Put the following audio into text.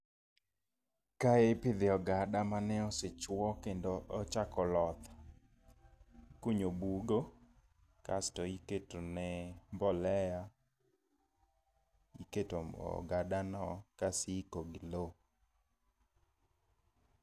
Kae ipidhe ogada mane osechuo kendo ochako loth, ikunyo bugo kasto iketone mbolea, iketo mo ogadano kas iiko gi lo